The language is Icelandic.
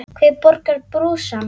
Hver borgar brúsann?